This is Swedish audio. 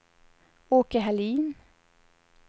Åke Hallin